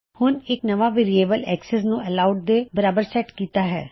ਹੁਣ ਮੈਂ ਇੱਕ ਨਵਾਂ ਵੇਅਰਿਏਬਲ access ਨੂੰ ਐਲੋਵਡ ਦੇ ਬਰਾਬਰ ਸੈਟ ਕੀਤਾ ਹੈ